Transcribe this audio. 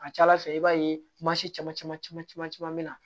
A ka ca ala fɛ i b'a ye mansin caman caman caman bɛ na